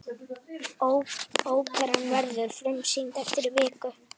Óperan verður frumsýnd eftir viku.